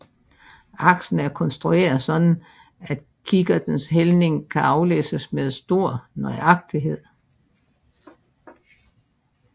Aksen er konstrueret så kikkertens hældning kan aflæses med stor nøjagtighed